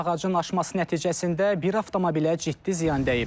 Ağacın aşması nəticəsində bir avtomobilə ciddi ziyan dəyib.